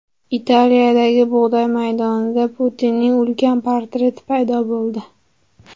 Italiyadagi bug‘doy maydonida Putinning ulkan portreti paydo bo‘ldi.